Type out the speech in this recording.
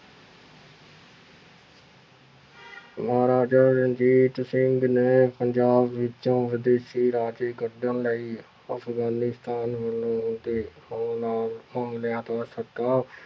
ਮਹਾਰਾਜਾ ਰਣਜੀਤ ਸਿੰਘ ਨੇ ਪੰਜਾਬ ਵਿੱਚੋਂ ਵਿਦੇਸ਼ੀ ਰਾਜੇ ਕੱਢਣ ਲਈ ਅਫ਼ਗਾਨੀਸਤਾਨ ਤੇ ਹਮਲਾ ਹਮਲਿਆਂ ਤੋਂ